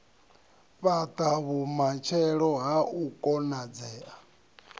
fhata vhumatshelo ha u konadzea